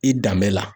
I danbe la